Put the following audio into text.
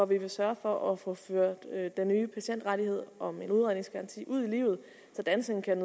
vi vil sørge for at få ført den nye patientrettighed om en udredningsgaranti ud i livet så danskerne kan